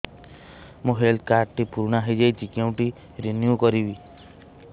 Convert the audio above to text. ମୋ health card ଟି ପୁରୁଣା ହେଇଯାଇଛି କେଉଁଠି ରିନିଉ କରିବି